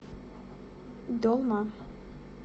долма